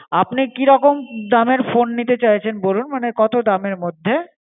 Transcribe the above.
আপনি কিরকম দামের phone নিতে চাইছেন বলুন মানে কত দামের মধ্যে?